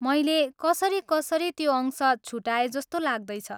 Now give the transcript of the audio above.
मैले कसरी कसरी त्यो अंश छुटाएजस्तो लाग्दैछ।